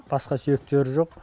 басқа сүйектері жоқ